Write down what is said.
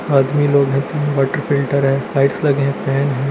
आदमी लोग है तीन वाटर फिल्टर है लाइट्स लगे हुए है।